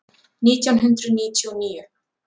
Nítján hundruð níutíu og níu